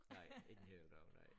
Nej ikke en hel dag nej